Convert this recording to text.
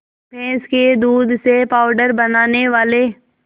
भैंस के दूध से पावडर बनाने वाले